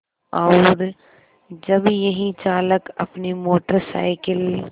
और जब यही चालक अपनी मोटर साइकिल